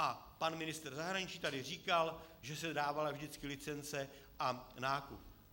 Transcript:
A pan ministr zahraničí tady říkal, že se dávala vždycky licence a nákup.